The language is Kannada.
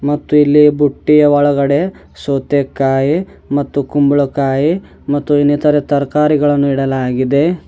ಮತ್ತು ಇಲ್ಲಿ ಬುಟ್ಟಿಯ ಒಳಗಡೆ ಸೌತೆಕಾಯ್ ಮತ್ತು ಕುಂಬಳಕಾಯ್ ಮತ್ತು ಇನ್ನೆತರೆ ತರಕಾರಿಗಳನ್ನು ಇಡಲಾಗಿದೆ.